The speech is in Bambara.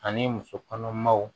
Ani musokɔnɔmaw